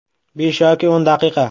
Besh yoki o‘n daqiqa.